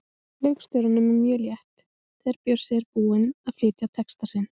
Leikstjóranum er mjög létt þegar Bjössi er búinn að flytja texta sinn.